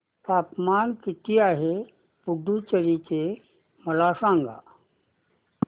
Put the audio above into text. तापमान किती आहे पुडुचेरी चे मला सांगा